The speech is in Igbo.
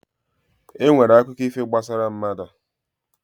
E nwere akụkọ ifo gbasara mmadụ.